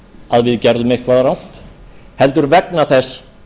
ef við gerðum eitthvað rangt heldur vegna þess